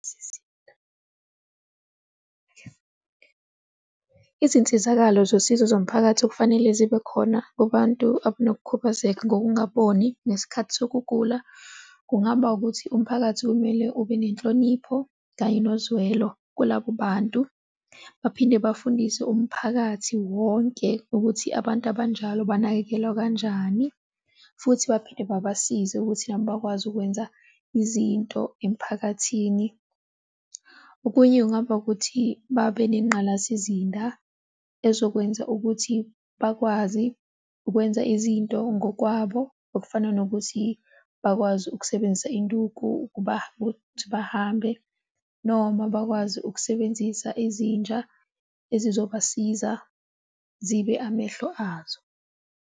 Sisinda izinsizakalo zosizo zomphakathi okufanele zibe khona kubantu abanokukhubazeka ngokungaboni ngesikhathi sokugula, kungaba ukuthi umphakathi kumele ube nenhlonipho kanye nozwelo kulabo bantu, baphinde bafundise umphakathi wonke ukuthi abantu abanjalo banakekelwa kanjani futhi baphinde babasize ukuthi nabo bakwazi ukwenza izinto emphakathini. Okunye kungaba ukuthi, babengqalasizinda ezokwenza ukuthi bakwazi ukwenza izinto ngokwabo, okufana nokuthi bakwazi ukusebenzisa induku ukuba ukuthi bahambe noma bakwazi ukusebenzisa izinja ezizobasiza zibe amehlo azo.